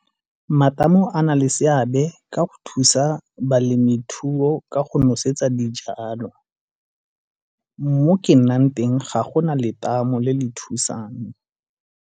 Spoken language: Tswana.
Matamo a na le seabe ka go thusa balemi thuo ka go nosetsa dijalo. Mo ke nnang teng ga go na letamo le le thusang.